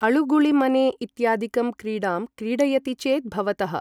अळुगुळिमने इत्यादिकं क्रीडां क्रीडयति चेत् भवतः ।